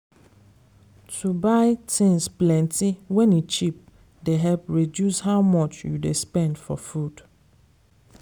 to buy things plenty wen e cheap dey help reduce how much you dey spend for food.